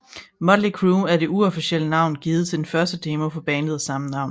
Mötley Crüe er det uofficielle navn givet til den første demo fra bandet af samme navn